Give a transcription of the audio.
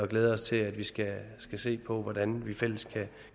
glæder os til at vi skal se på hvordan vi fælles